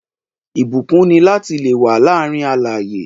Ìbúkún ni lati le wà láàárín alààyè